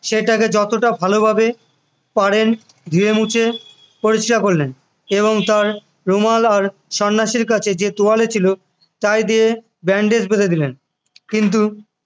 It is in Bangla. সেটাকে যতটা ভালোভাবে পারেন ধুয়ে মুছে পরিষ্কার করলেন এবং তার রুমাল আর সন্ন্যাসীর কাছে যে তোয়ালে ছিল তাই দিয়ে bandage বেঁধে দিলেন করে দিলেন কিন্তু